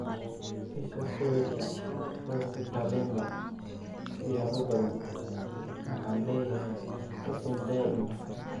Isha sawirka, Rose Kalemba '' Siyaabo badan, waxaan leeyahay xukun daa'im ah''